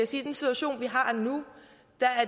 situation vi har nu